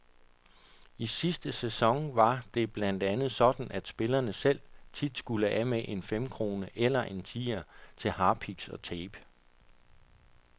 I sidste sæson var det blandt andet sådan, at spillerne selv tit skulle af med en femkrone eller en tier til harpiks og tape.